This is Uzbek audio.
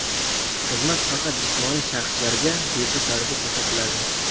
Xizmat faqat jismoniy shaxslarga bepul tarzda ko‘rsatiladi.